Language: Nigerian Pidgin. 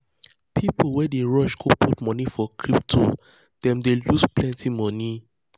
people wey dey rush go put money for crypto them dey loose plenty money.